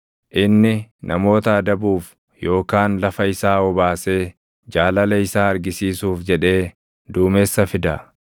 Inni namoota adabuuf, yookaan lafa isaa obaasee jaalala isaa argisiisuuf jedhee duumessa fida.